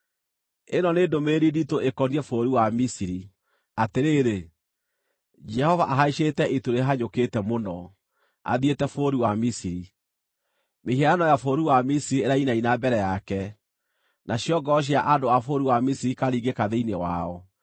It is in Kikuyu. Ĩno nĩ ndũmĩrĩri nditũ ĩkoniĩ bũrũri wa Misiri: Atĩrĩrĩ, Jehova ahaicĩte itu rĩhanyũkĩte mũno athiĩte bũrũri wa Misiri. Mĩhianano ya bũrũri wa Misiri irainaina mbere yake, nacio ngoro cia andũ a bũrũri wa Misiri ikaringĩka thĩinĩ wao.